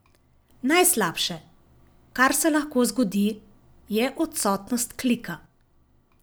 Najslabše, kar se lahko zgodi, je odsotnost klika.